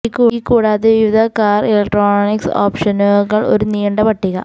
ഈ കൂടാതെ വിവിധ കാർ ഇലക്ട്രോണിക്സ് ഓപ്ഷനുകൾ ഒരു നീണ്ട പട്ടിക